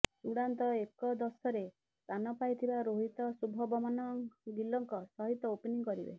ଚୂଡ଼ାନ୍ତ ଏକଦଶରେ ସ୍ଥାନ ପାଇଥିବା ରୋହିତ ଶୁଭବମନ ଗିଲଙ୍କ ସହିତ ଓପନିଂ କରିବେ